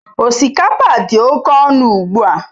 Osikapa dị oke ọnụ ugbu a.